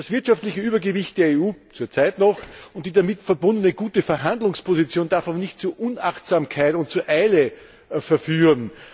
Das wirtschaftliche Übergewicht der EU zurzeit noch und die damit verbundene gute Verhandlungsposition darf aber nicht zu Unachtsamkeit und zu Eile verführen.